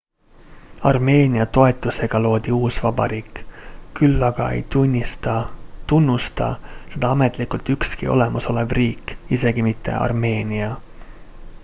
armeenia toetusega loodi uus vabariik küll aga ei tunnusta seda ametlikult ükski olemasolev riik isegi mitte armeenia